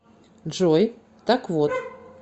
джой так вот